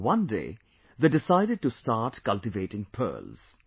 One day, they decided to start cultivating pearls